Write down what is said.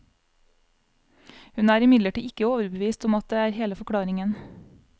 Hun er imidlertid ikke overbevist om at det er hele forklaringen.